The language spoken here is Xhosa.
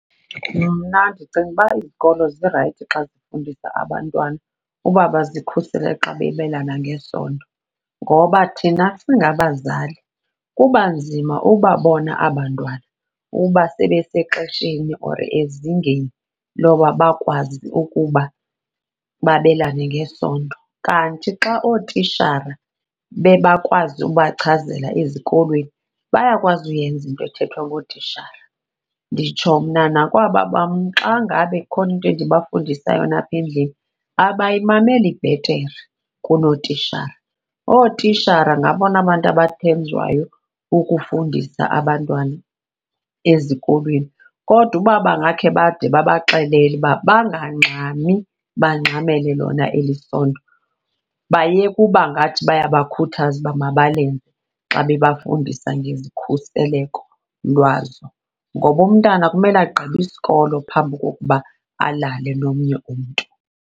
Mna ndicinga uba izikolo zirayithi xa zifundisa abantwana uba bazikhusele xa bebelana ngesondo, ngoba thina singabazali kuba nzima ubabona aba 'ntwana uba sebesexesheni or ezingeni loba bakwazi ukuba babelane ngesondo. Kanti xa ootitshara bebakwazi ubachazela ezikolweni, bayakwazi uyenza into ethethwa ngootishala. Nditsho mna nakwaba bam xa ngabe ikhona into endibafundisa yona apha endlini abayimameli bhetere kunootitshara, ootitshara ngabona bantu abathenjwayo ukufundisa abantwana ezikolweni. Kodwa uba bengakhe bade babaxelele uba bangxami bangxamele lona eli sondo bayeke uba ngathi bayabakhuthaza uba mabalenze xa bebafundisa ngezikhuseleko lwazo. Ngoba umntana kumele agqibe isikolo phambi kokuba alale nomnye umntu.